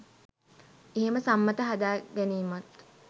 එහෙම සම්මත හදාගැනීමත්